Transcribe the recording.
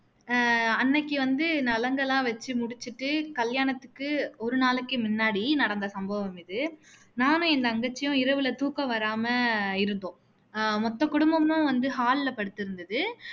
அஹ் அன்னைக்கு வந்து நலங்கு எல்லாம் வச்சு முடிச்சுட்டு கல்யாணாத்துக்கு ஒரு நாளைக்கு முன்னாடி நடந்த சம்பவம் இது நானும் என் தங்கச்சியும் இரவுல தூக்கம் வராம இருந்தோம் மொத்த குடும்பமும் hall ல படுத்து இருந்துது